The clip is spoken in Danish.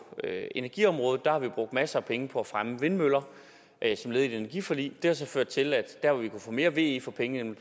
energiområdet har vi brugt masser af penge på at fremme vindmøller som led i et energiforlig det har så ført til at der hvor vi kunne få mere ve for pengene